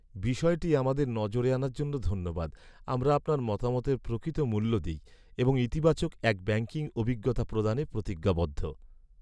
বিষয়টি আমাদের নজরে আনার জন্য ধন্যবাদ। আমরা আপনার মতামতের প্রকৃত মূল্য দিই এবং ইতিবাচক এক ব্যাঙ্কিং অভিজ্ঞতা প্রদানে প্রতিজ্ঞাবদ্ধ।